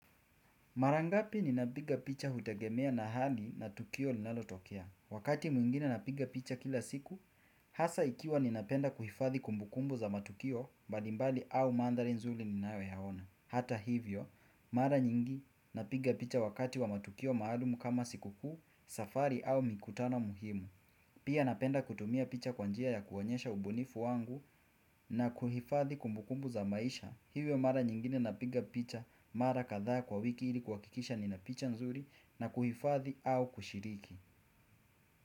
Marangapi ninapiga picha hutegemea na hali na tukio linalotokea. Wakati mwingine napiga picha kila siku, hasa ikiwa ninapenda kuhifadhi kumbukumbu za matukio balimbali au mandari nzuri ninayoyaona. Hata hivyo, mara nyingi napiga picha wakati wa matukio maalumu kama siku kuu, safari au mikutano muhimu Pia napenda kutumia picha kwa njia ya kuonyesha ubunifu wangu na kuhifadhi kumbukumbu za maisha Hivyo mara nyingine napiga picha mara kadha kwa wiki ili kuwakikisha nina picha nzuri na kuhifadhi au kushiriki.